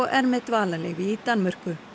með dvalarleyfi í Danmörku